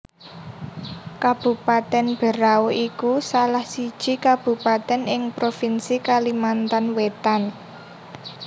Kabupatèn Berau iku salah siji kabupatèn ing provinsi Kalimantan Wétan